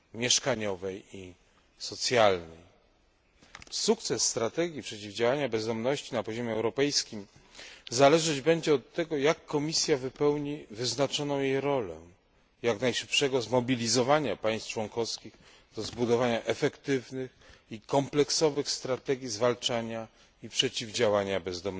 mieszkaniowej i socjalnej. Sukces strategii przeciwdziałania bezdomności na poziomie europejskim zależeć będzie od tego, jak Komisja wypełni wyznaczoną jej rolę jak najszybszego zmobilizowania państw członkowskich do zbudowania efektywnych i kompleksowych strategii zwalczania bezdomności i przeciwdziałania jej.